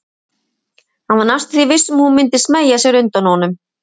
Hann var næstum því viss um að hún myndi smeygja sér undan honum.